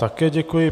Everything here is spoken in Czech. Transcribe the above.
Také děkuji.